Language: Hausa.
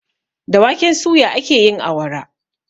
Da waken suya ake yin awara.